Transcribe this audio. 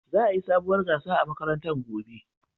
Za'a yi sabuwar gasa a makarantar gobe.